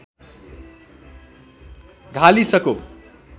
धालिसको